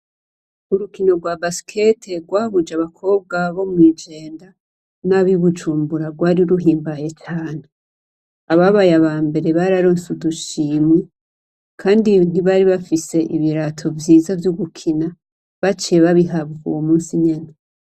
Urukino rwa basikete rwahuje abakobwa bo mw'Ijenda n'abo i Bujumbura, rwari ruhimbaye cane. Ababaye aba mbere, baronse udushimwe, kandi ntibari bafise ibirato vyiza vy'ugukina, baciye babihabwa uwo munsi nyene.